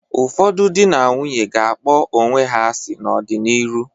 Ụfọdụ dị na nwunye ga-akpọ onwe ha asị n'ọ dị n'ịrụ.